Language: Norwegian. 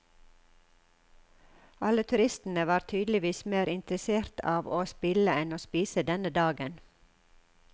Alle turistene var tydeligvis mer interessert av å spille enn å spise denne dagen.